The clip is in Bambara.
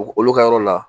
Olu ka yɔrɔ la